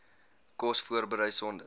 kos voorberei sonder